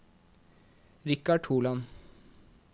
Richard Holand